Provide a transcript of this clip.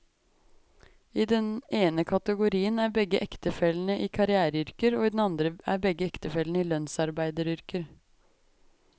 I den ene kategorien er begge ektefellene i karriereyrker, og i den andre er begge ektefellene i lønnsarbeideryrker.